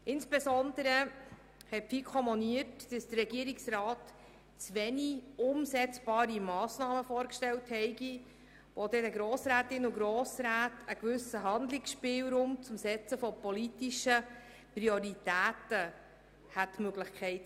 Insbesondere hat die FiKo moniert, dass der Regierungsrat zu wenige umsetzbare Massnahmen vorgestellt habe, um den Grossrätinnen und Grossräten einen gewissen Handlungsspielraum zum Setzen politischer Prioritäten zu ermöglichen.